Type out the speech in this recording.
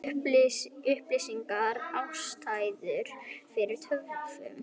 Upplýsir ekki ástæður fyrir töfum